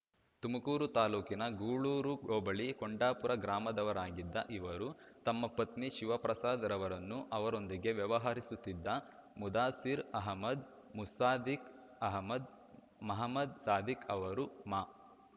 ತುಮಕೂರು ತಾಲ್ಲೂಕಿನ ಗೂಳೂರು ಹೋಬಳಿ ಕೊಂಡಾಪುರ ಗ್ರಾಮದವರಾಗಿದ್ದ ಇವರು ತಮ್ಮ ಪತ್ನಿ ಶಿವಪ್ರಸಾದ್‌ರವರನ್ನು ಅವರೊಂದಿಗೆ ವ್ಯವಹರಿಸುತ್ತಿದ್ದ ಮುದಾಸಿರ್ ಅಹಮದ್ ಮುಸಾದಿಕ್ ಅಹಮದ್ ಮಹಮದ್ ಸಾಧಿಕ್ ಅವರು ಮಾ